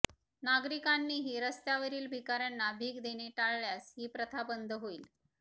नागरिकांनीही रस्त्यावरील भिकाऱ्यांना भीक देणे टाळल्यास ही प्रथा बंद होईल